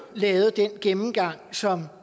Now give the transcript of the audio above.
lavet den gennemgang som